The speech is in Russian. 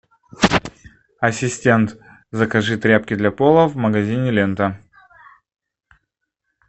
ассистент закажи тряпки для пола в магазине лента